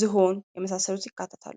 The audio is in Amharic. ፣ዝሆን የመሳሰሉት ይካተታሉ ::